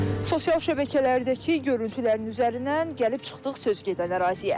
Sosial şəbəkələrdəki görüntülərin üzərindən gəlib çıxdıq söz gedən əraziyə.